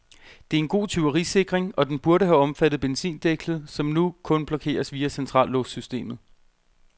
Det er en god tyverisikring, og den burde have omfattet benzindækslet, som nu kun blokeres via centrallåssystemet.